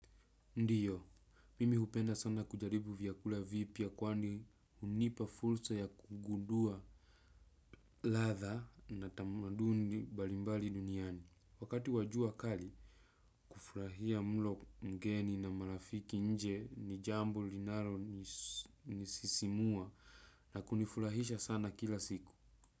Ndiyo, mimi hupenda sana kujaribu vyakula vipya kwani hunipa fursa ya kugundua ladha na tamaduni mbalimbali duniani. Wakati wa jua kali, kufurahia mlo mgeni na marafiki nje ni jambo linalo ni sisimua na kunifurahisha sana kila siku.